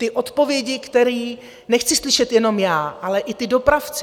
Ty odpovědi, které nechci slyšet jenom já, ale i ti dopravci.